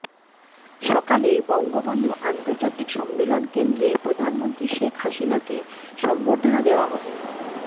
সকালে বঙ্গবন্ধু আন্তর্জাতিক সম্মেলন কেন্দ্রে প্রধানমন্ত্রী শেখ হাসিনাকে সংবর্ধনা দেয়া হবে